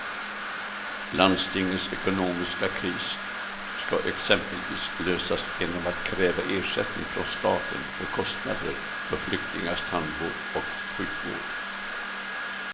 Landstingets ekonomiska kris ska exempelvis lösas genom att kräva ersättning från staten för kostnader för flyktingars tandvård och sjukvård.